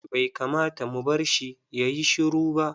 Bai kamata mu barshi yayi shiru ba.